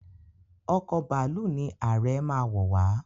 Ọkọ̀ bàálù ní Aree má wọ wá.